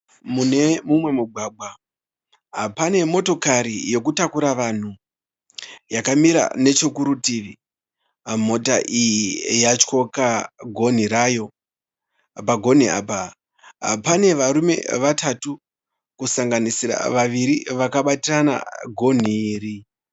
Mune mumwe mugwagwa pane motokari yokutakura vanhu yakamira nechekurutivi. Mota iyi yatyoka gonhi rayo. Pagonhi apa pane varume vatatu kusanganisira vaviri vakabatirana gonhi iri.